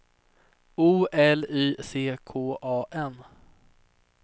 O L Y C K A N